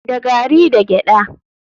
Da gari da gyada.